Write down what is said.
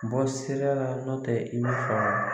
Bɔ sira la nɔ tɛ i man faamu.